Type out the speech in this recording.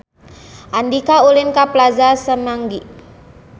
Andika ulin ka Plaza Semanggi